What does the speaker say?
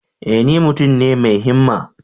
E! ni mutum ne mai himma.